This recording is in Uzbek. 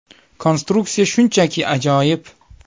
Konstruksiya shunchaki ajoyib.